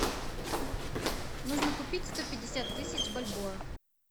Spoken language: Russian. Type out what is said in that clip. нужно купить сто пятьдесят тысяч бальбоа